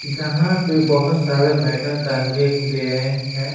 यहां पे बहुत सारे मेडल टांगे हुए है हैं।